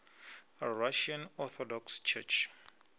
russian orthodox church